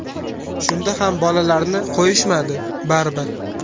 Shunda ham bolamni qo‘yishmadi baribir.